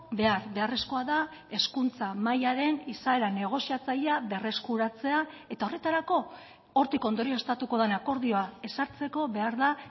behar beharrezkoa da hezkuntza mahaiaren izaeran negoziatzailea berreskuratzea eta horretarako hortik ondorioztatuko den akordioa ezartzeko behar da